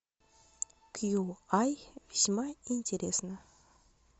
кьюай весьма интересно